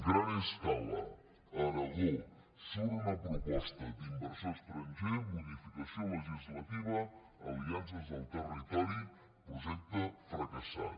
gran scala a aragó surt una proposta d’inversor estranger modificació legislativa aliances al territori projecte fracassat